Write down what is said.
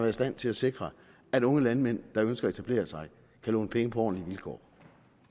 i stand til at sikre at unge landmænd der ønsker at etablere sig kan låne penge på ordentlige vilkår